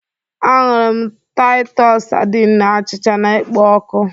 Anụrị m Taịtọs sardine na achịcha na-ekpo ọkụ